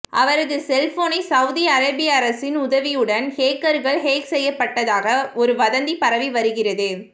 அவரது செல்போனை சவுதி அரேபிய அரசின் உதவியுடன் ஹேக்கர்கள் ஹேக் செய்யப்பட்டதாக ஒரு வதந்தி பரவி வருகிறது